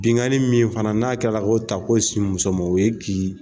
Binkanni min fana n'a kɛla ko ta ko sin muso ma o ye kin